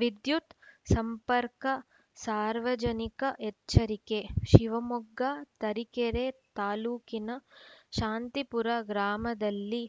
ವಿದ್ಯುತ್‌ ಸಂಪರ್ಕಸಾರ್ವಜನಿಕ ಎಚ್ಚರಿಕೆ ಶಿವಮೊಗ್ಗ ತರಿಕೆರೆ ತಾಲೂಕಿನ ಶಾಂತಿಪುರ ಗ್ರಾಮದಲ್ಲಿ